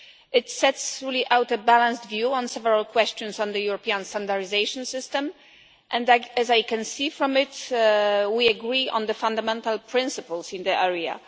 It sets out a balanced view on several questions on the European standardisation system and as I can see from it, we agree on the fundamental principles in the area.